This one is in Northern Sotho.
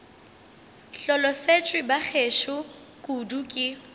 hlolosetšwe ba gešo kudu ke